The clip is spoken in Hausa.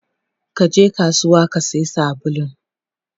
Kaje kasuwa Kasiya sabulun?